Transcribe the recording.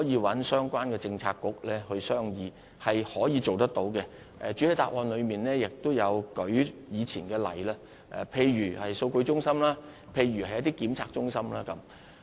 我想指出，這是可以做到的，我在主體答覆亦提及過往一些例子，例如數據中心或測試中心等。